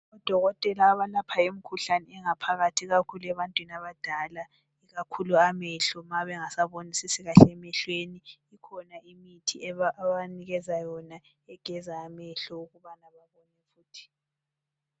Odokotela abalapha imikhuhlane engaphakathi, ikakhulu ebantwini abadala Ikakhulu amehlo ma bengasabonisisi kahle emehlweni. Ikhona imithi ababanikeza yona ukuthi begeze amehlo ukubana babone futhi.